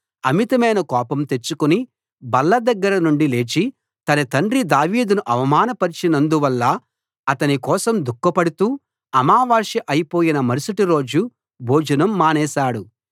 అమితమైన కోపం తెచ్చుకుని బల్ల దగ్గర నుండి లేచి తన తండ్రి దావీదును అవమానపరచినందు వల్ల అతని కోసం దుఃఖపడుతూ అమావాస్య అయిపోయిన మరుసటి రోజు భోజనం మానేశాడు